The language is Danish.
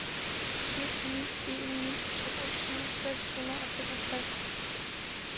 syv ni en ni toogtyve seks hundrede og fireogtres